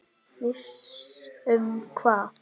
Viss um hvað?